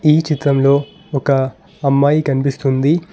ఈ చిత్రంలో ఒక అమ్మాయి కనిపిస్తుంది.